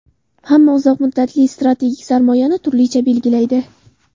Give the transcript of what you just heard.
Hamma uzoq muddatli strategik sarmoyani turlicha belgilaydi.